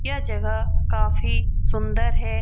यह जगह काफी सुंदर है।